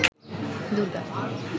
Durga